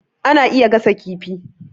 Ana iya gasa kifi